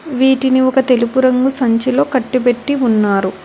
వీటిని ఒక తెలుపు రంగు సంచిలో కట్టిపెట్టి ఉన్నారు.